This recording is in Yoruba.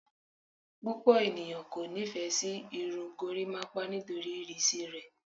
Pupọ eniyan ko nifẹ si irun gorimapa nitori irisi rẹ